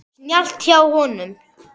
Snjallt hjá honum.